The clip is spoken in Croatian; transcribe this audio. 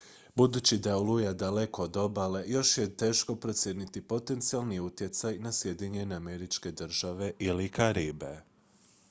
budući da je oluja daleko od obale još je teško procijeniti potencijalni utjecaj na sjedinjene američke države ili karibe